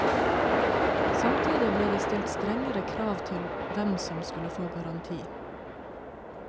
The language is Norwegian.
Samtidig ble det stilt strengere krav til hvem som skulle få garanti.